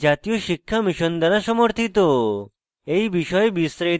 এই বিষয়ে বিস্তারিত তথ্য এই link প্রাপ্তিসাধ্য